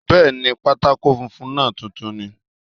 Bẹ́ẹ̀ni, pátákó funfun náà tuntun ni